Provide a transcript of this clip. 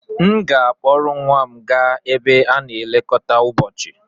M ga-akpọrọ nwa m gaa ebe a na-elekọta ụbọchị.